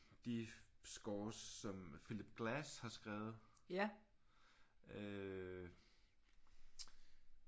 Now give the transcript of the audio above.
De scores som Phillip Glass har skrevet øh